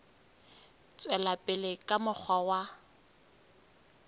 tswela pele ka mokgwa wa